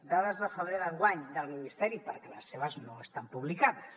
dades de febrer d’enguany del ministeri perquè les seves no estan publicades